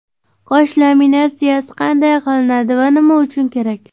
Qosh laminatsiyasi qanday qilinadi va nima uchun kerak?